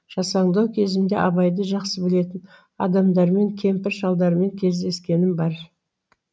жасаңдау кезімде абайды жақсы білетін адамдармен кемпір шалдармен кездескенім бар